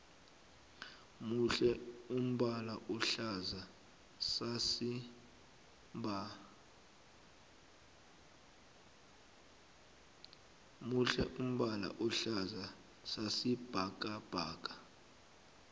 muhle umbala ohlaza sasi bhakabhaka